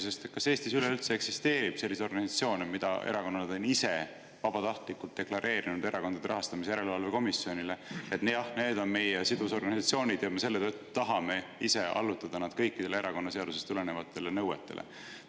Sest kas Eestis üleüldse eksisteerib selliseid organisatsioone, mille kohta erakonnad on ise vabatahtlikult deklareerinud Erakondade Rahastamise Järelevalve Komisjonile, et jah, need on meie sidusorganisatsioonid ja me selle tõttu ise tahame allutada nad kõikidele erakonnaseadusest tulenevatele nõuetele?